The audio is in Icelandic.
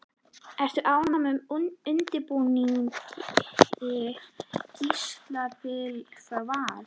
Ertu ánægður með undirbúningstímabilið hjá Val?